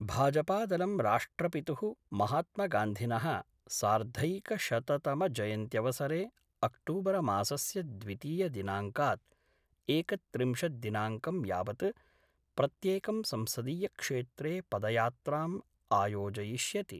भाजपादलं राष्ट्रपितुः महात्मगान्धिनः सार्धैकशततमजयन्त्यवसरे अक्टूबरमासस्य द्वितीय दिनाङ्कात् एकत्रिंशद्दिनाङ्कं यावत् प्रत्येकं संसदीयक्षेत्रे पदयात्राम् आयोजयिष्यति।